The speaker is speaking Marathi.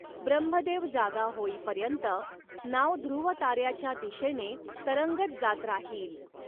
ब्रह्मदेव जागा होईपर्यंत नाव ध्रुवताऱ्याच्या दिशेने तरंगत जात राहील.